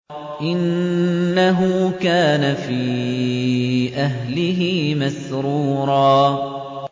إِنَّهُ كَانَ فِي أَهْلِهِ مَسْرُورًا